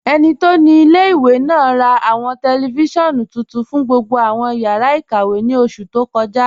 Ẹni tó ni ilẹ̀-ìwé náà rà awọn tẹlifisiọ̀nù tuntun fún gbogbo awọn yàrá ikàwé ní oṣù tó kọ́ja.